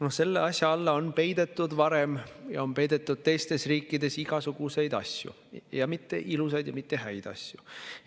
No selle asja alla on peidetud varem ja on peidetud teistes riikides igasuguseid asju, ja mitte ilusaid ja häid asju.